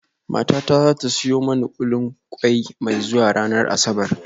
Matata za ta siyo mani kullin kwai mai zuwa ranar Asabar